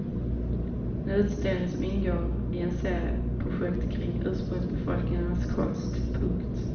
En utställning som ingår i en serie projekt kring ursprungsbefolkningarnas konst. punkt